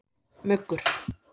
Muggur